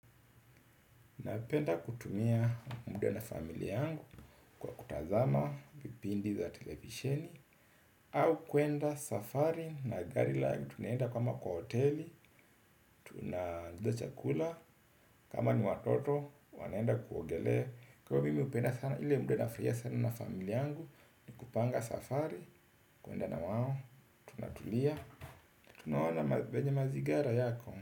Napenda kutumia muda na familia yangu kwa kutazama vipindi vya televisheni. Au kwenda safari na gari langu, tunaenda kama kwa hoteli. Tunaorder chakula kama ni watoto wanaenda kuogelea. Kwangu mimi napenda sana ule muda wa furaha sana na familia yangu, ni kupanga safari, kwenda nao, tunatulia. Tunaona vyenye mazingira yako.